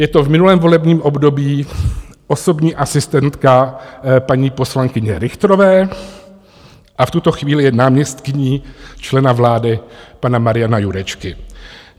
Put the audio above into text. Je to v minulém volebním období osobní asistentka paní poslankyně Richterové a v tuto chvíli je náměstkyní člena vlády pana Mariana Jurečky.